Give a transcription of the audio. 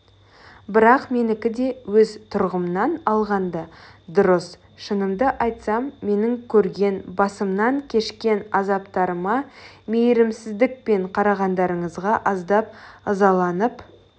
бірақ менікі де өз тұрғымнан алғанда дұрыс шынымды айтсам менің көрген басымнан кешкен азаптарыма мейірімсіздікпен қарағандарыңызға аздап ызаланып